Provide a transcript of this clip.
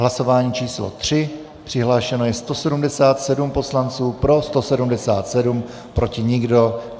Hlasování číslo 3, přihlášeno je 177 poslanců, pro 177, proti nikdo.